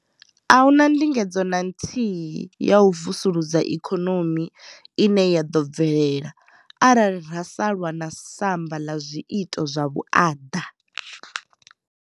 A hu na ndingedzo na nthihi ya u vusulusa ikonomi ine ya ḓo bvelela arali ra sa lwa na samba ḽa zwiito zwa vhuaḓa.